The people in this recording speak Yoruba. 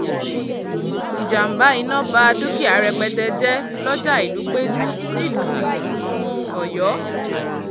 um ìjàm̀bá iná bá dúkìá rẹpẹtẹ jẹ́ lọ́jà ìlúpẹ́jù nílùú um ọ̀yọ́